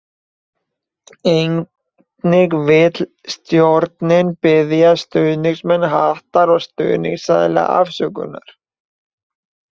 Einnig vil stjórnin biðja stuðningsmenn Hattar og stuðningsaðila afsökunar.